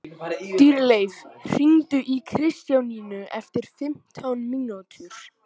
Dýrleif, hringdu í Kristjánínu eftir fimmtán mínútur.